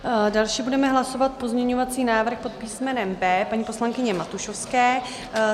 Další budeme hlasovat pozměňovací návrh pod písmenem B paní poslankyně Matušovské.